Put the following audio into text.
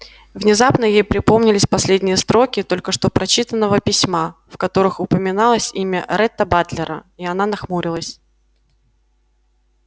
внезапно ей припомнились последние строки только что прочитанного письма в которых упоминалось имя ретта батлера и она нахмурилась